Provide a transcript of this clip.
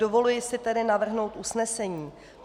Dovoluji si tedy navrhnout usnesení.